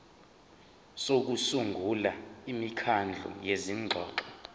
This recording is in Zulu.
sokusungula imikhandlu yezingxoxo